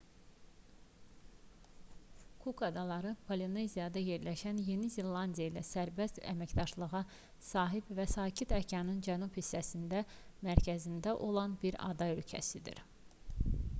kuk adaları polineziyada yerləşən yeni zelandiya ilə sərbəst əməkdaşlığa sahib və sakit okeanın cənub hissəsinin mərkəzində olan bir ada ölkəsidir